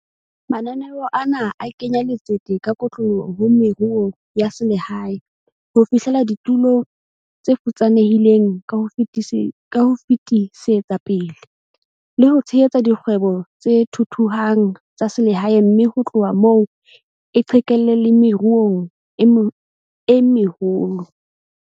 Mananeo ana a kenya letsete ka kotloloho ho meruo ya selehae, ho fihlella ditulo tse futsanehileng ka ho fetisetsa pele, le ho tshehetsa dikgwebo tse thuthuhang tsa selehae mme ho tloha moo e qhekelle le meruong e meholo.